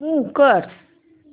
move कर